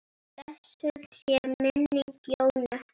Blessuð sé minning Jónu.